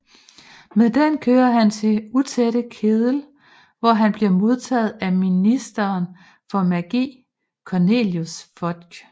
Med den kører han til Den Utætte Kedel hvor han bliver modtaget af ministeren for magi Cornelius Fudge